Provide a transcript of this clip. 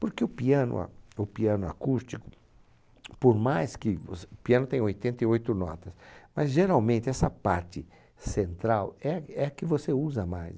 Porque o piano a o piano acústico, por mais que você, o piano tem oitenta e oito notas, mas geralmente essa parte central é a é a que você usa mais.